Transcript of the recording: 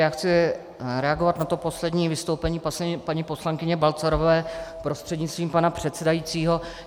Já chci reagovat na to poslední vystoupení paní poslankyně Balcarové prostřednictvím pana předsedajícího.